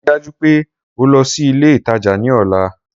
Rii daju pe o lọ si ile itaja ni ọla!